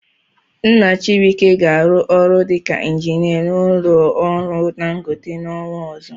Nna Chibuike ga-arụ ọrụ dịka injinia n'ụlọ ọrụ Dangote n'ọnwa ọzọ.